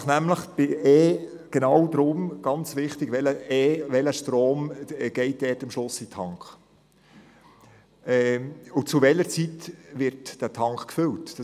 Es geht nämlich darum, welches «E», welcher Strom am Schluss in den Tank fliesst und zu welcher Zeit der Tank gefüllt wird.